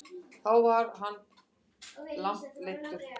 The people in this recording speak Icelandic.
Þá var hann langt leiddur.